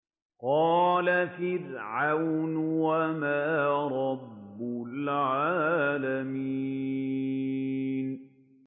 قَالَ فِرْعَوْنُ وَمَا رَبُّ الْعَالَمِينَ